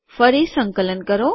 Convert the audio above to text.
ફરી સંકલન કરો